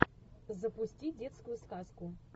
запусти детскую сказку